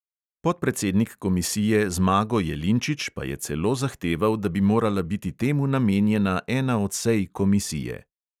Podpredsednik komisije zmago jelinčič pa je celo zahteval, da bi morala biti temu namenjena ena od sej komisije.